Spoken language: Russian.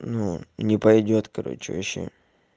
ну не пойдёт короче вообще